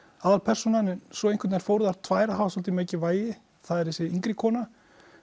aðalpersónan en svo fóru þær tvær að hafa svolítið mikið vægi það er þessi yngri kona